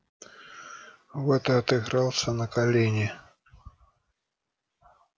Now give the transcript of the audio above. вот и отыгрался на колине